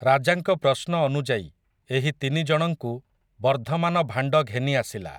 ରାଜାଙ୍କ ପ୍ରଶ୍ନ ଅନୁଯାୟୀ ଏହି ତିନି ଜଣଙ୍କୁ ବର୍ଦ୍ଧମାନ ଭାଣ୍ଡ ଘେନି ଆସିଲା ।